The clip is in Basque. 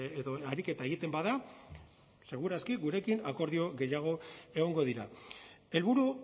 edo ariketa egiten bada seguraski gurekin akordio gehiago egongo dira helburu